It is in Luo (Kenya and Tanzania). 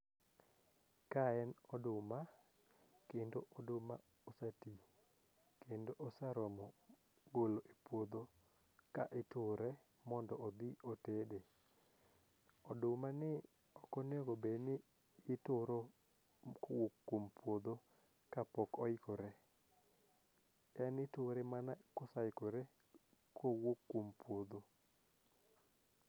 Kae en oduma kendo oduma oseti kendo oseromo golo e puodho ka iture mondo odhi otede ,oduma ni ok onego bed ni ituro kowuok kuom puodho kapok oikore ,en iture mana kosaikore kowuok kuom puodho .